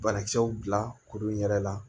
Banakisɛw bila kuru in yɛrɛ la